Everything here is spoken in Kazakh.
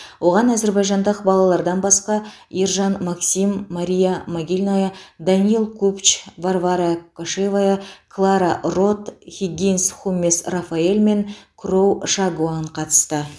оған әзербайжандық балалардан басқа ержан максим мария магильная даниил купч варвара кошевая клара рот хиггинс хумес рафаэл мен кроу шагуан қатысты